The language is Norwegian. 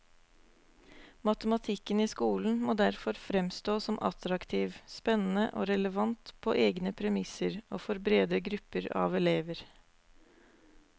Matematikken i skolen må derfor fremstå som attraktiv, spennende og relevant på egne premisser og for brede grupper av elever.